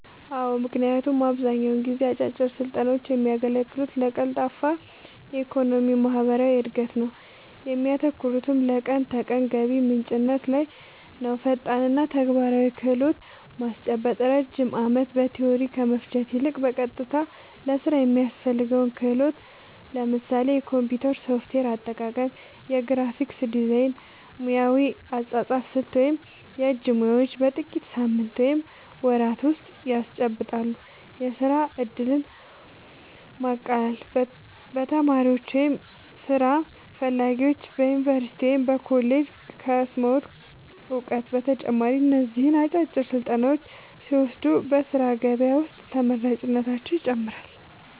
አዎ ምክንያቱም አብዛኛውን ጊዜ አጫጭር ስልጠናውች የሚያገለግሉት ለቀልጣፋ የኢኮኖሚና ማህበራዊ እድገት ነው እሚያተኩሩትም ለቀን ተቀን ገቢ ምንጭነት ላይ ነውፈጣንና ተግባራዊ ክህሎት ማስጨበጥ ረጅም ዓመታት በቲዎሪ ከመፍጀት ይልቅ፣ በቀጥታ ለሥራ የሚያስፈልገውን ክህሎት (ለምሳሌ የኮምፒውተር ሶፍትዌር አጠቃቀም፣ የግራፊክስ ዲዛይን፣ ሙያዊ የአጻጻፍ ስልት ወይም የእጅ ሙያዎች) በጥቂት ሳምንታት ወይም ወራት ውስጥ ያስጨብጣሉ። የሥራ ዕድልን ማቃለል : ተማሪዎች ወይም ሥራ ፈላጊዎች በዩኒቨርሲቲ ወይም በኮሌጅ ከቀሰሙት እውቀት በተጨማሪ እነዚህን አጫጭር ስልጠናዎች ሲወስዱ በሥራ ገበያ ውስጥ ተመራጭነታቸውን ይጨምረዋል።